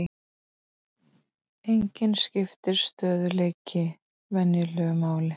Einnig skiptir stöðugleiki venju máli.